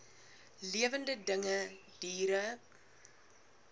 lewende dinge diere